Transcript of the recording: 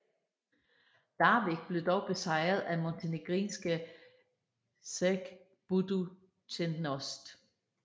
Larvik blev dog besejret af montenegrinske ŽRK Budućnost